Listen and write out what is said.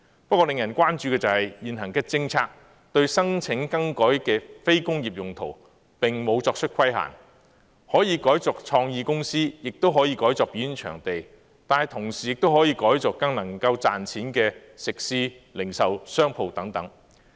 不過，令人關注的是，現行政策對申請更改非工業用途並無作出規限，可以改作創意公司，亦可以改作表演場地，但同時亦可以改作更能賺錢的食肆和零售商鋪等。